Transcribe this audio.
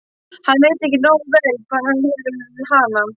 Hann veit ekki nógu vel hvar hann hefur hana.